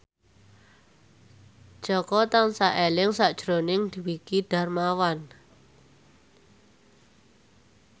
Jaka tansah eling sakjroning Dwiki Darmawan